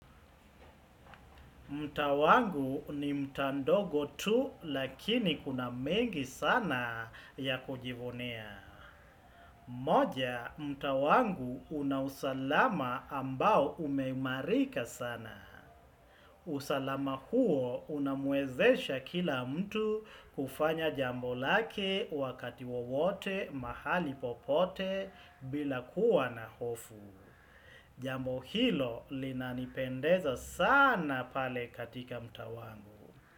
Mtaa wangu ni mtaa ndogo tu lakini kuna mengi sana ya kujivuneia. Moja, mtaa wangu una usalama ambao umeimarika sana. Usalama huo unamwezesha kila mtu kufanya jambo lake wakati wowote mahali popote bila kuwa na hofu. Jambo hilo linanipendeza sana pale katika mtaa wangu.